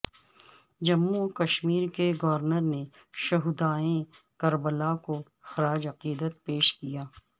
جموں وکشمیر کے گورنر نے شہدائے کربلا کو خراج عقیدت پیش کیا